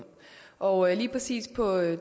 og lige præcis på